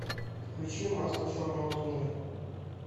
включи масло черного тмина